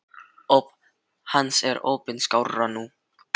Hlýt bara að vera að bilast.